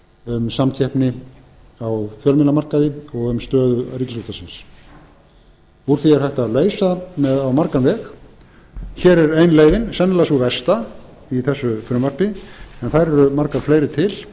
um samkeppni á fjölmiðlamarkaði og um stöðu ríkisútvarpsins úr því er hægt að leysa á margan veg hér er ein leiðin sennilega sú versta í þessu frumvarpi en þær eru margar fleiri til